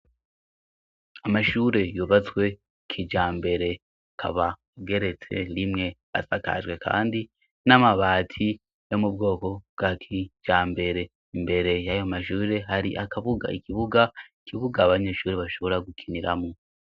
Amashuri yubatswe kijambere ,akaba ageretswe rimwe, asakajwe kandi n'amabati yo mu bwoko bwa kijambere, imbere y'ayo mashure hari ikibuga abanyeshuri bashobora gukiniramo.